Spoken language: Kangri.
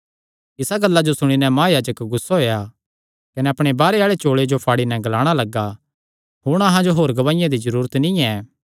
इसा गल्ला जो सुणी नैं महायाजक गुस्सा होई नैं अपणे बाहरे आल़े चोल़े फाड़ी नैं ग्लाणा लग्गा हुण अहां जो होर गवाहिया दी क्या जरूरत ऐ